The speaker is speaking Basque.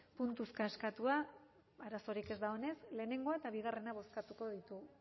puntuka eskatua arazorik ez dagoenez batgarrena eta bigarrena bozkatuko ditugu